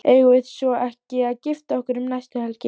Eigum við svo ekki að gifta okkur um næstu helgi?